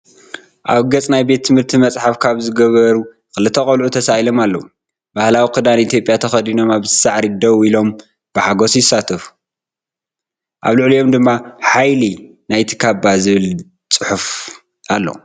ኣብ ገጽ ናይ ቤት ትምህርቲ መጽሓፍ ካባ ዝገበሩ ክልተ ቈልዑ ተሳኢሎም ኣለዉ። ባህላዊ ክዳን ኢትዮጵያ ተኸዲኖም ኣብ ሳዕሪ ደው ኢሎም ብሓጎስ ይሳተፉ። ኣብ ልዕሊኦም ድማ “ሓይሊ ናይቲ ካባ” ዝብል ጽሑፍ ኣሎ።